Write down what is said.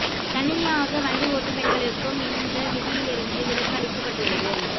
தனியாக வண்டி ஓட்டும் பெண்களுக்கும் இந்த விதியிலிருந்து விலக்கு அளிக்கபட்டுள்ளது